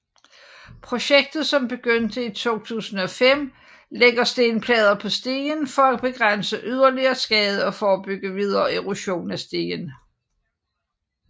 Projektet som begyndte i 2005 lægger stenplader på stien for at begrænse yderligere skade og forebygge videre erosion af stien